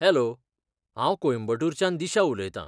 Hello! हांव कोयंबटूरच्यान दिशा उलयतां .